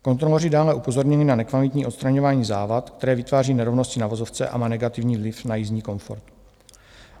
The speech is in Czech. Kontroloři dále upozorňují na nekvalitní odstraňování závad, které vytváří nerovnosti na vozovce a má negativní vliv na jízdní komfort.